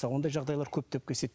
ондай жағдайлар көптеп кездеседі